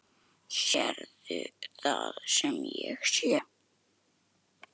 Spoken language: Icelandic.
Sérðu það sem ég sé?